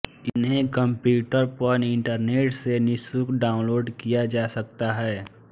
इन्हें कंप्यूटर पर इंटरनेट से निःशुल्क डाउनलोड किया जा सकता है